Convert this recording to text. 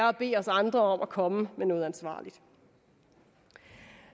at bede os andre om at komme med noget ansvarligt